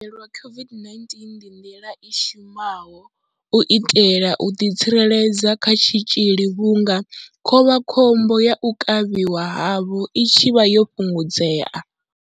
U haelelwa COVID-19 ndi nḓila i shumaho u itela u ḓitsireledza kha tshitzhili vhunga khovhakhombo ya u kavhiwa havho i tshi vha yo fhungudzea.